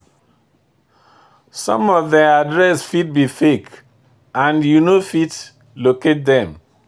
Some of them address fit be fake, and you no fit locate them.